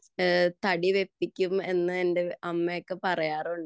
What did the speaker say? തടി വെപ്പിക്കും എന്ന് എന്റെ അമ്മയൊക്കെ പറയാറുണ്ട്